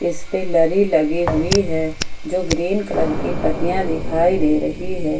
इस पर लड़ी लगी हुई है जो ग्रीन कलर की पत्तियां दिखाई दे रही है।